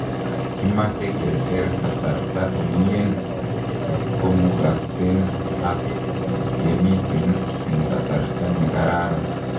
Kimache keter kasarta komien kotkomukasen ak kamiten en kasarta ne karan